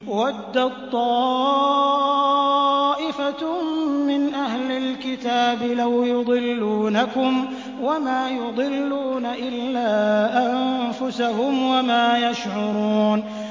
وَدَّت طَّائِفَةٌ مِّنْ أَهْلِ الْكِتَابِ لَوْ يُضِلُّونَكُمْ وَمَا يُضِلُّونَ إِلَّا أَنفُسَهُمْ وَمَا يَشْعُرُونَ